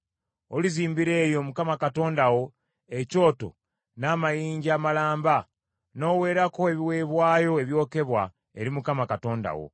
Olizimbira eyo Mukama Katonda wo ekyoto n’amayinja amalamba n’oweerako ebiweebwayo ebyokebwa eri Mukama Katonda wo.